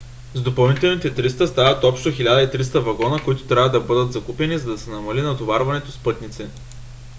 с допълнителните 300 стават общо 1300 вагона които трябва да бъдат закупени за да се намали натоварването с пътници